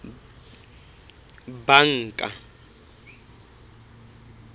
banka